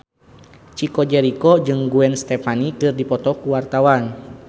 Chico Jericho jeung Gwen Stefani keur dipoto ku wartawan